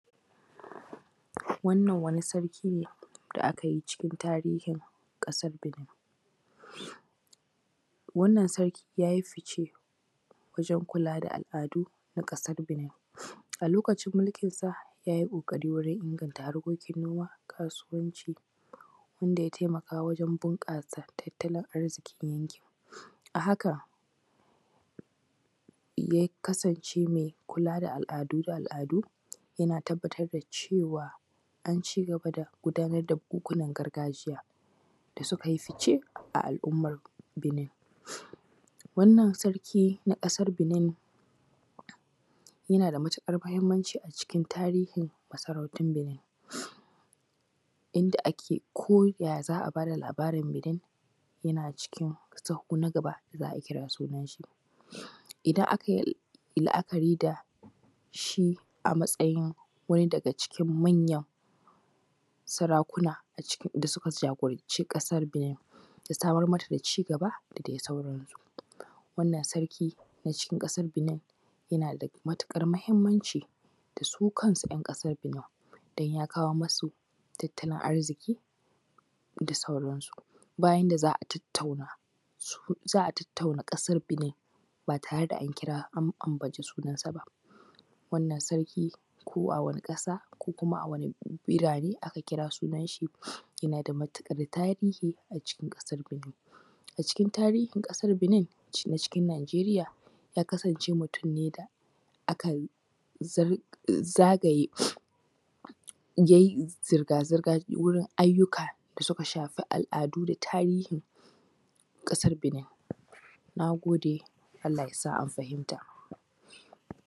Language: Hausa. Wannan wani sarki ne da aka yi cikin tarihin ƙasar Benin. Wannan sarki ya yi fice wajen kula da al’adu na ƙasar Benin. A lokacin mulkinsa yay i ƙoƙari wurin inganta haekokin noma, kasuwanci, wanda ya taimaka wajen bunƙasa tatttalin arzikin yankin. A haka ya kasance mai kula da al’adu da al’adu, yana tabbatar da cewa an cigaba da gudanar da bukuwan gargajiya da suka yi fice a al’ummar Benin. Wannan sarki na ƙasar Benin yana da matuƙar muhimmanci a cikin tarihin masarautar ƙasar Benin. Yanda ake koya za a ba da labarin, yana cikin sahu na gaba za a kira sunan shi. Idan aka yi la’akari da shi a matsayin wani daga cikin manyan sarakuna a cikin sarakuna da suka jagoranci ƙasar Benin da samar mata da cigaba da adi sauransu. Wannan sarki na ƙasar Benin yana da matuƙar muhimmanc su kansu ‘yan ƙasan Benin, dan ya kawo masu tattalin arziki da sauransu. Ba yanda za a tattauna, tattauna ƙasar Benin ba tare ba tare da an ambace sunansa ba. Wannan sarki ko a wani ƙasa ko kuma a wani birane aka kira sunan shi yana da matuƙar tarihi a cikin ƙasar Benin. A cikin tarihin ƙasar Benin na ƙasar Najeriya ya kasance mutum ne da aka zagaye, yay i zirga-zirga wurin ayyuka da suka shafi al’adu da tarihi na ƙasar Benin. Na gode Allah ya sa an fahimmata.